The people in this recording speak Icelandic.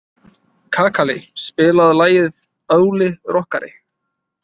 Kakali, spilaðu lagið „Óli rokkari“.